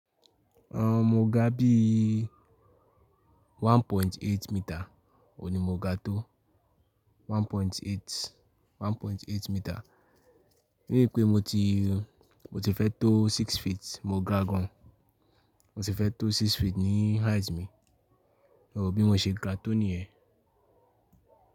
Aun, mo ga bi i 1.8 meter, òní mo ga tó 1.8, 1.8 meter. Nii ìpé mo ti, mo ti fẹ́ tó six feet, mo ga gan. Mo ti fẹ́ tó six feet ni height mi, bí mo ṣe ga tó níyẹn.